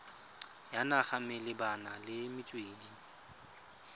ya naga malebana le metswedi